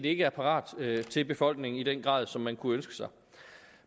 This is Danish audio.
ikke er parat til befolkningen i den grad som man kunne ønske sig